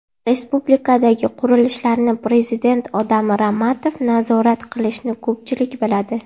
Respublikadagi qurilishlarni prezidentning odami Ramatov nazorat qilishini ko‘pchilik biladi.